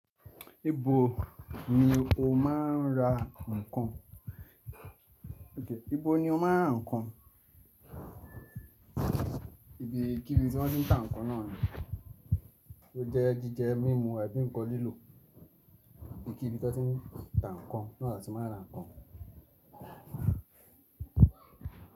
Ibo ni o máa ń ra nǹkan? Ibo ni o máa ń ra nǹkan? Ibi, kibi tí wọ́n ti ń ta nǹkan náà ni? Óunjẹ́ jíjẹ mímu, abí ǹkan lílò. Ibikíbi tí wọ́n ti ń ta nǹkan náà na tí máa ń ra nǹkan?